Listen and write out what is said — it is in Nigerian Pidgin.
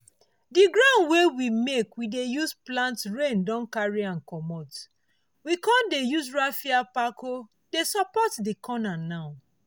the ground wey we make we dey use plant rain carry am commot—we con dey use raffia pako dey support the corner now.